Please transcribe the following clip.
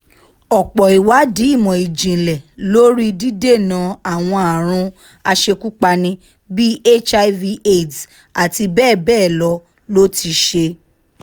ọ̀pọ̀ ìwádìí ìmọ̀ ìjìnlẹ̀ lórí dídènà àwọn àrùn aṣekúpani bíi hiv aids àti bẹ́ẹ̀ bẹ́ẹ̀ lọ ló ti ṣe